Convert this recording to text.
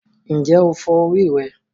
Ǹjẹ́ o fọ orí rẹ?